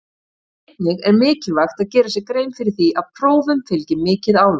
Einnig er mikilvægt að gera sér grein fyrir því að prófum fylgir mikið álag.